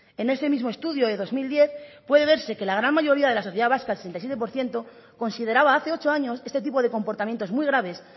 en este mismo estudio de dos mil diez puede verse que la gran mayoría de la sociedad vasca el sesenta y siete por ciento consideraba hace ocho años este tipo de comportamientos muy graves